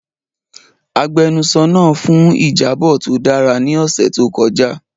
Agbẹnusọro naa fun ijabọ to dara ni ọsẹ to kọja.